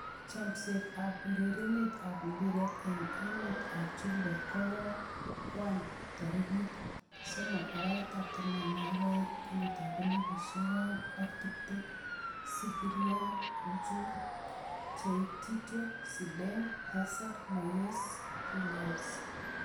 Chomset ab urerenet ab mbiret eng emet ab chumbek koang'wan tarikit 03.12.2020: Skriniar, Schuurs, Pochettino, Zidane, Hazard, Moyes, Williams